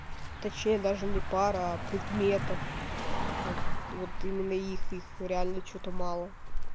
точнее даже не пар а предметов вот вот именно их их реально что-то мало